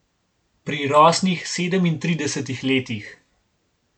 Pri rosnih sedemintridesetih letih.